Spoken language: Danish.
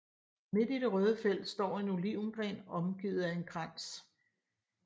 Midt i det røde felt står en olivengren omgivet af en krans